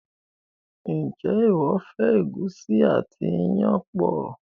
njé iwọ fẹ egusi àti iyán pọ?